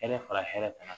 fara hɛrɛ kan